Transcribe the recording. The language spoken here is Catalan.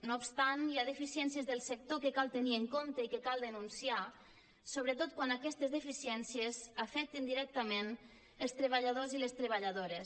no obstant hi ha deficiències del sector que cal tenir en compte i que cal denunciar sobretot quan aquestes deficiències afecten directament els treballadors i les treballadores